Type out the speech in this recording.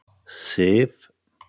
Sif